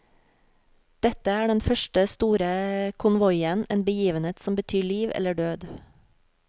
Dette er den første store konvoien, en begivenhet som betyr liv eller død.